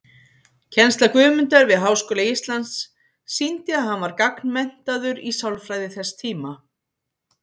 Kennsla Guðmundar við Háskóla Íslands sýndi að hann var gagnmenntaður í sálfræði þess tíma.